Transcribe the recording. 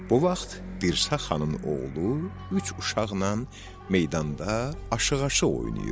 Bu vaxt Dirsə xanın oğlu üç uşaqla meydanda aşıq-aşıq oynayırdı.